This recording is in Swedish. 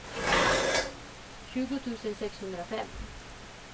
tjugo tusen sexhundrafem